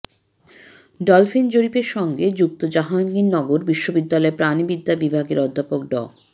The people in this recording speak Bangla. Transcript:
ডলফিন জরিপের সঙ্গে যুক্ত জাহাঙ্গীরনগর বিশ্ববিদ্যালয়ের প্রাণিবিদ্যা বিভাগের অধ্যাপক ড